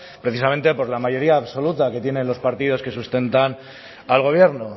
precisamente por la mayoría absoluta que tienen los partidos que sustentan al gobierno